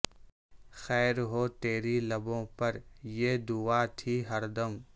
خیر ہو تیری لبوں پر یہ دعا تھی ہر دم